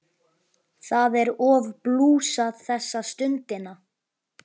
Það er of blúsað þessa stundina.